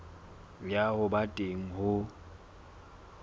ya ho ba teng ho